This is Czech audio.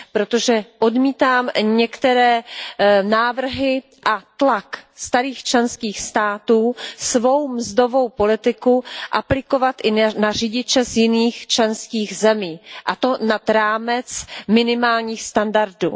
Protože odmítám některé návrhy a tlak starých členských států svou mzdovou politiku aplikovat i na řidiče z jiných členských zemí, a to nad rámec minimálních standardů.